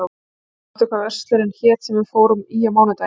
Albert, manstu hvað verslunin hét sem við fórum í á mánudaginn?